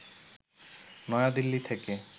নয়াদিল্লি থেকে